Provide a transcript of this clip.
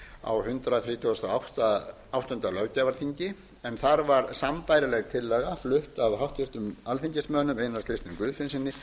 á hundrað þrítugasta og áttunda löggjafarþingi en þar var sambærileg tillaga flutt af háttvirtum alþingismönnum einari